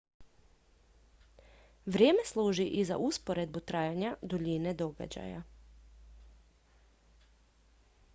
vrijeme služi i za usporedbu trajanja duljine događaja